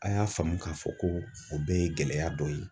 A y'a faamu k'a fɔ ko o bɛɛ ye gɛlɛya dɔ ye.